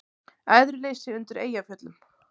Æðruleysi undir Eyjafjöllum